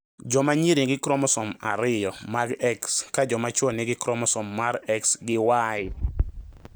Jomanyiri nigi kromosom ariyo mag X ka jomachuo nigi kromosom mar X gi Y